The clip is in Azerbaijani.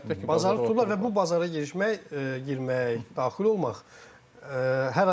Əlbəttə ki, bazarı tutublar və bu bazara girişmək, girmək, daxil olmaq.